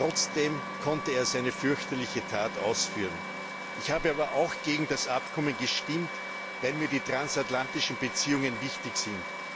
Trotzdem konnte er seine fürchterliche Tat ausführen. Ich habe aber auch gegen das Abkommen gestimmt, weil mir die transatlantischen Beziehungen wichtig sind.